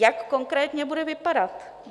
Jak konkrétně bude vypadat?